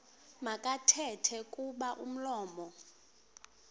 makathethe kuba umlomo